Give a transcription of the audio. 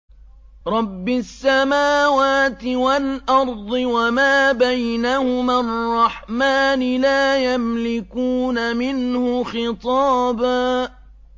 رَّبِّ السَّمَاوَاتِ وَالْأَرْضِ وَمَا بَيْنَهُمَا الرَّحْمَٰنِ ۖ لَا يَمْلِكُونَ مِنْهُ خِطَابًا